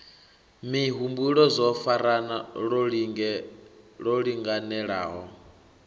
mihumbulo zwo farana lwo linganelaho